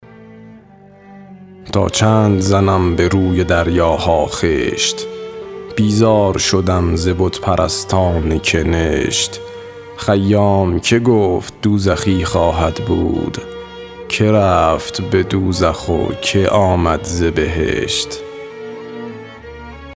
تا چند زنم به روی دریاها خشت بیزار شدم ز بت پرستان کنشت خیام که گفت دوزخی خواهد بود که رفت به دوزخ و که آمد ز بهشت